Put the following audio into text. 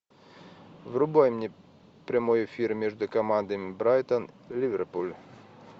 врубай мне прямой эфир между командами брайтон ливерпуль